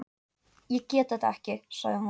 Ég get þetta ekki, sagði hún.